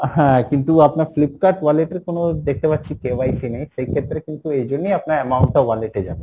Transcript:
হ্যাঁ, কিন্তু আপনার Flipkart wallet এর কোনো দেখতে পাচ্ছি KYC নেই, সেই ক্ষেত্রে কিন্তু এইজন্যেই আপনার amount টা wallet এ যাবে,